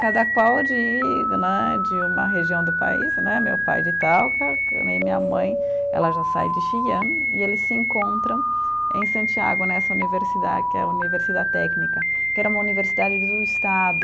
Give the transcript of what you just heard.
Cada qual de né, de uma região do país né, meu pai de Itaúca né, e minha mãe, ela já sai de Xi'an e eles se encontram em Santiago, nessa universidade, que é a Universidade Técnica, que era uma universidade do Estado,